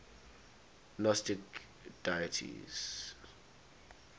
gnostic deities